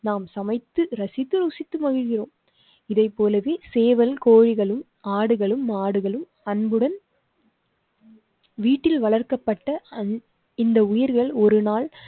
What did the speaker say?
நாம் சமைத்து ரசித்து ருசித்து மகிழ்கிறோம். இதை போலவே சேவல் கோழிகளும், ஆடுகளும், மாடுகளும் அன்புடன். வீட்டில் வளர்க்கப்பட்ட இந்த உயிர்கள் ஒருநாள்